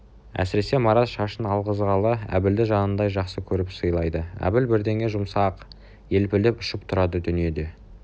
әсіресе марат шашын алғызғалы әбілді жанындай жақсы көріп сыйлайды әбіл бірдеңеге жұмсаса-ақ елпілдеп ұшып тұрады дүниеде